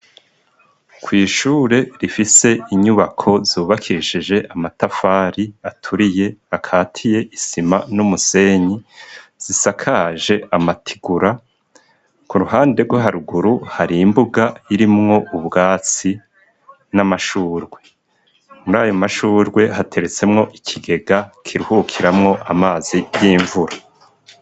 Kw'ishure rifise inyubako zubakishije amatafari aturiye, akatiye isima n'umusenyi, zisakaje amatigura, k'uruhande rwo haruguru hari imbuga irimwo ubwatsi n'amashurwe, muri ayo mashurwe hateretsemwo ikigega kiruhukiramo amazi y'imvura.